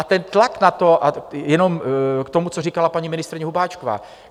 A ten tlak na to... a jenom k tomu, co říkala paní ministryně Hubáčková.